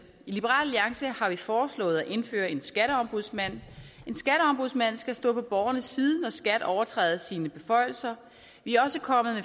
i liberal alliance har vi foreslået at indføre en skatteombudsmand skal stå på borgernes side når skat overtræder sine beføjelser vi er også kommet